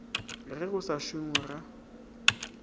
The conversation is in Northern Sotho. ge go sa šongwe ga